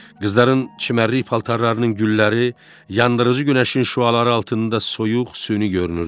Qızların çimərlik paltarlarının gülləri yandırıcı günəşin şüaları altında soyuq, süni görünürdü.